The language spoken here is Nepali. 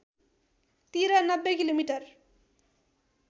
तिर ९० किमि